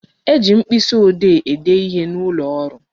E ji mkpịsị ode ede ihe n'ụlọ ọrụ